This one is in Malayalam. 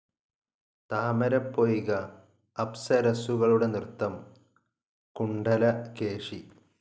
താമരപ്പൊയ്ക, അപ്സരസ്സുകളുടെ നൃത്തം, കുണ്ഡലകേശി.